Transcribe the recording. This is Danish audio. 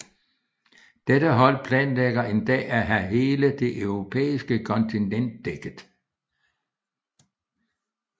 Dette hold planlægger en dag at have hele det Europæiske kontinent dækket